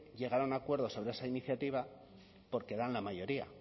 llegar a un acuerdo sobre esa iniciativa porque dan la mayoría